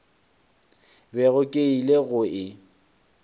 bego ke ile go e